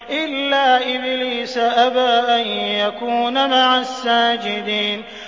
إِلَّا إِبْلِيسَ أَبَىٰ أَن يَكُونَ مَعَ السَّاجِدِينَ